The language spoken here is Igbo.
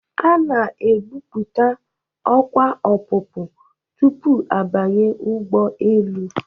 A na-ekwupụta ọkwa ọpụpụ tupu a banye ụgbọelu.